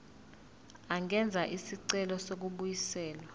angenza isicelo sokubuyiselwa